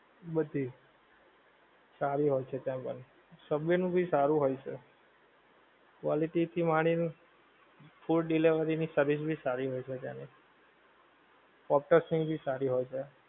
બધી સારી હોય છે ત્યાં પણ. સબવે નું ભી સારું હોય છે. quality થી માંડી ને food delivery ની service ભી સારી હોય છે ત્યાંની ઑક્ટસ્ ની ભી સારી હોય છે.